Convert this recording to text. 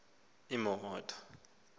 kweyomdumba